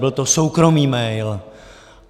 Byl to soukromý mail.